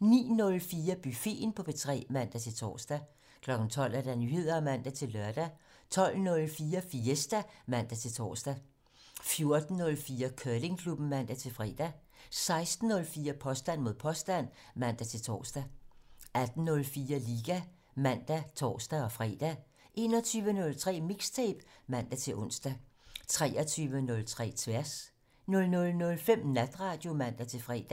09:04: Buffeten på P3 (man-tor) 12:00: Nyheder (man-lør) 12:04: Fiesta (man-tor) 14:04: Curlingklubben (man-fre) 16:04: Påstand mod påstand (man-tor) 18:04: Liga (man og tor-fre) 21:03: Mixtape (man-ons) 23:03: Tværs 00:05: Natradio (man-fre)